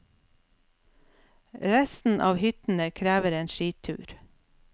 Resten av hyttene krever en skitur.